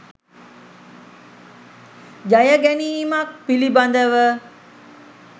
ජය ගැනීමක් පිළිබඳව